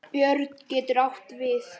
Björn getur átt við